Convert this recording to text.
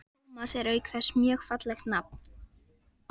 Tómas er auk þess mjög fallegt nafn.